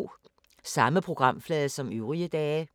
Samme programflade som øvrige dage